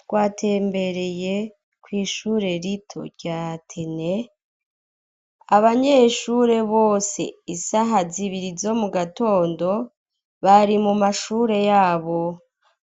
Twatembereye kw'ishure rito rya tene abanyeshure bose isaha zibiri zo mu gatondo bari mu mashure yabo